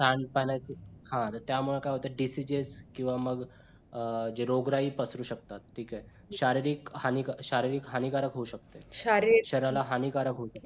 त्यामुळे काय होतंय disease किंवा मग अं जे मह रोगराई पसरू शकतात ठिक आहे. शारीरिक हानी शारीरिक हानिकारक होऊ शकतं. शरीराला हानिकारक होऊ शकतं.